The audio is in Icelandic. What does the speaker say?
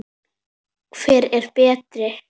Hvar er Berti?